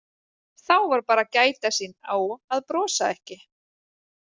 Þá var bara að gæta sín á að brosa ekki.